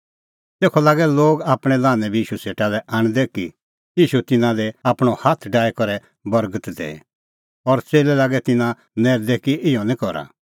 तेखअ लागै लोग आपणैं लान्हैं बी ईशू सेटा लै आणदै कि ईशू तिन्नां दी आपणअ हाथ डाही करै बर्गत दैऐ और च़ेल्लै लागै तिन्नां नैरदै कि इहअ निं करा